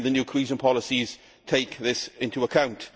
Again the new cohesion policies take this into account.